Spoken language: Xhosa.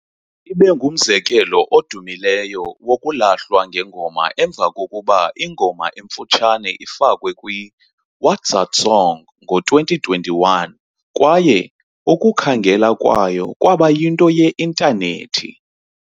Ibe ngumzekelo odumileyo wokulahlwa kwengoma emva kokuba ingoma emfutshane ifakwe kwi-WatZatSong ngo-2021 kwaye ukukhangela kwayo kwaba yinto ye-Intanethi.